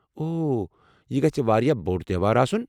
اوہ، یہِ گژھِ واریاہ بوٚڑ تیوہار آسُن ۔